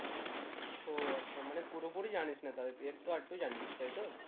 ও আচ্ছা মানে পুরো পুরি জানিস না তাহলে তুই একটু আদটু জানিস তাই তো?